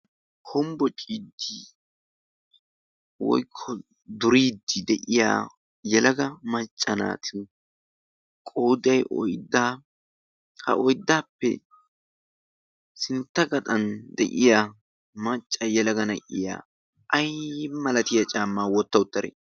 kombbo cidii woikoduridi de'iya yalaga maccanaati qodai oiddaa ha oyddaappe sintta gaxan de'iya macca yalaga na"iya aii malatiya caammaa wotta uttaree?